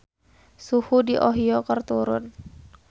Suhu di Ohio keur turun